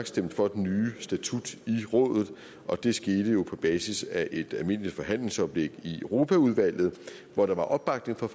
stemte for den nye statut i rådet og det skete jo på basis af et almindeligt forhandlingsoplæg i europaudvalget hvor der var opbakning fra